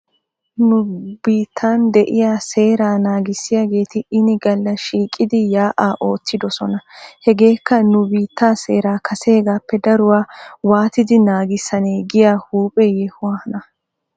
Nu biittan de'iyaa seeraa naagissiyaageeti ini galla shiiqidi yaa'aa ootidosona . Hegeeka nu biittee seeraa kaseegaappe daruwaa waatidi naagissanee giyaa huuphphe yohuwaana.